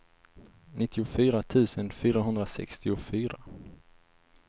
nittiofyra tusen fyrahundrasextiofyra